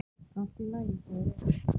Allt í lagi, segir Egill.